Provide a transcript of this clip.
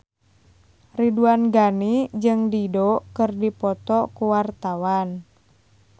Ridwan Ghani jeung Dido keur dipoto ku wartawan